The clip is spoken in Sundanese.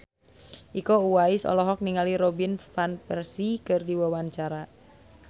Iko Uwais olohok ningali Robin Van Persie keur diwawancara